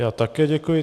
Já také děkuji.